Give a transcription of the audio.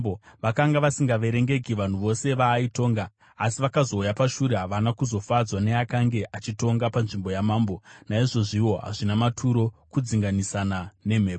Vakanga vasingaverengeki vanhu vose vaaitonga. Asi vakazouya pashure havana kufadzwa neakanga achitonga panzvimbo yamambo. Naizvozviwo hazvina maturo, kudzinganisana nemhepo.